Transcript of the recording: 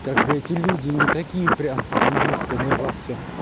как бы эти люди не такие прям изысканные во всём